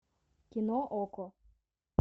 кино окко